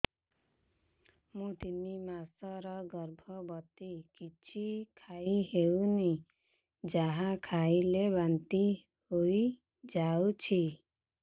ମୁଁ ତିନି ମାସର ଗର୍ଭବତୀ କିଛି ଖାଇ ହେଉନି ଯାହା ଖାଇଲେ ବାନ୍ତି ହୋଇଯାଉଛି